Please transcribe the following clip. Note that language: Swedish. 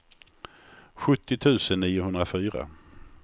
sjuttio tusen niohundrafyra